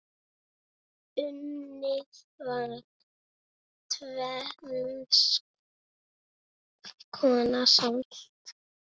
Unnið var tvenns konar salt.